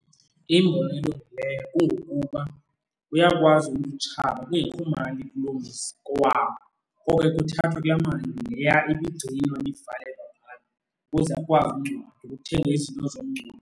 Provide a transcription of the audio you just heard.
Iyimbono elungileyo kungokuba uyakwazi umntu utshaba kungekho mali kuloo mzi, kowabo. Ngoko ke kuthathwa kulaa mali leya ibigcinwa, ibivalelwa phaya, ukuze akwazi ungcwatywa, kuthengwe izinto zomngcwabo.